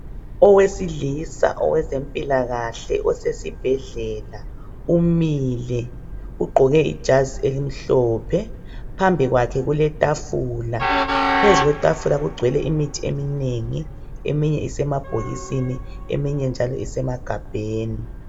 Owesilisa owezempilakahle osesibhedlela umile ugqoke ijazi elimhlophe .Phambi kwakhe kuletafula . Phezu kwetafula kugcwele imithi eminengi eminye isemabhokisini eminye njalo isemagabheni.